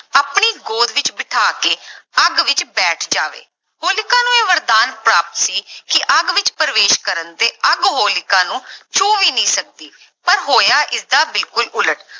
ਆਪਣੀ ਗੋਦ ਵਿੱਚ ਬਿਠਾ ਕੇ ਅੱਗ ਵਿੱਚ ਬੈਠ ਜਾਵੇ, ਹੋਲਿਕਾ ਨੂੰ ਇਹ ਵਰਦਾਨ ਪ੍ਰਾਪਤ ਸੀ ਕਿ ਅੱਗ ਵਿੱਚ ਪ੍ਰਵੇਸ਼ ਕਰਨ ਤੇ ਅੱਗ ਹੋਲਿਕਾ ਨੂੰ ਛੂਹ ਵੀ ਨਹੀਂ ਸਕਦੀ ਪਰ ਹੋਇਆ ਇਸਦਾ ਬਿਲਕੁਲ ਉਲਟ।